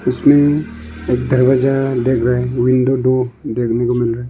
इसमें एक दरवाजा देख रहे विंडो दो देखने को मिल रहा है।